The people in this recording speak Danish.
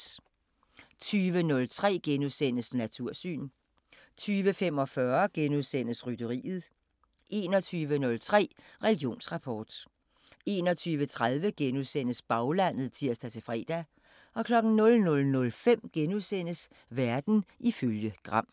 20:03: Natursyn * 20:45: Rytteriet * 21:03: Religionsrapport 21:30: Baglandet *(tir-fre) 00:05: Verden ifølge Gram *